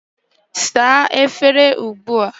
Saa efere ugbu a!